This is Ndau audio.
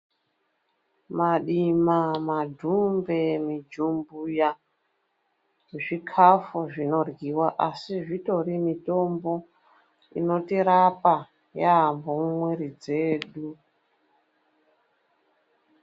Madima, madhumbe, mijumbuya zvikafu zvinoryiwa asi zvitori mitombo inotirapa yaamho mumwiri dzedu.